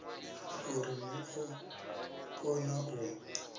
uri ni ḓo kona u